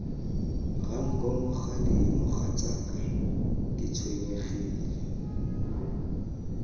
ranko mokgadi mogatsaka ke tshwenyegile